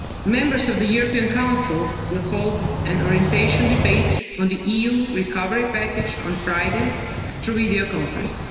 Members of the European Council will hold an orientation debate on the EU recovery package on Friday through video conference.